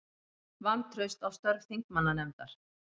Vantraust á störf þingmannanefndar